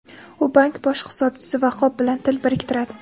U bank bosh hisobchisi Vahob bilan til biriktiradi.